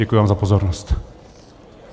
Děkuji vám za pozornost.